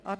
Art.